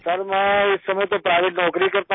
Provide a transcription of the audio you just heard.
sir मैं इस समय तो प्राइवेट नौकरी करता हूँ